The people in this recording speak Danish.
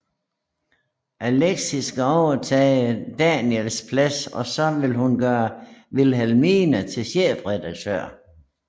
Alexis skal overtage Daniels plads og så ville hun gøre Wilhelmina til chefredaktør